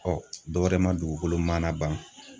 dɔwɛrɛ ma dugukolo mana ban